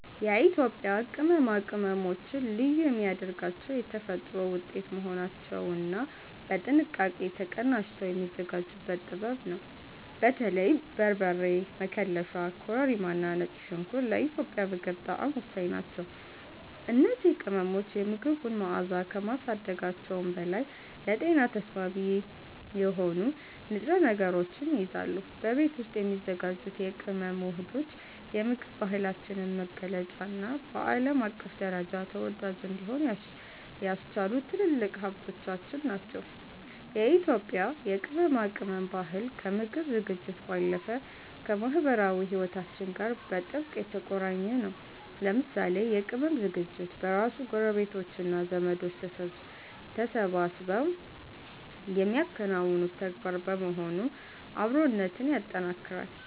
የኢትዮጵያ ቅመማ ቅመሞችን ልዩ የሚያደርጋቸው የተፈጥሮ ውጤት መሆናቸውና በጥንቃቄ ተቀናጅተው የሚዘጋጁበት ጥበብ ነው። በተለይም በርበሬ፣ መከለሻ፣ ኮረሪማና ነጭ ሽንኩርት ለኢትዮጵያዊ ምግብ ጣዕም ወሳኝ ናቸው። እነዚህ ቅመሞች የምግቡን መዓዛ ከማሳደጋቸውም በላይ ለጤና ተስማሚ የሆኑ ንጥረ ነገሮችን ይይዛሉ። በቤት ውስጥ የሚዘጋጁት የቅመም ውህዶች የምግብ ባህላችንን መገለጫና በዓለም አቀፍ ደረጃ ተወዳጅ እንዲሆን ያስቻሉ ትልልቅ ሀብቶቻችን ናቸው። የኢትዮጵያ የቅመማ ቅመም ባህል ከምግብ ዝግጅት ባለፈ ከማኅበራዊ ሕይወታችን ጋር በጥብቅ የተቆራኘ ነው። ለምሳሌ የቅመም ዝግጅት በራሱ ጎረቤቶችና ዘመዶች ተሰባስበው የሚያከናውኑት ተግባር በመሆኑ አብሮነትን ያጠናክራል።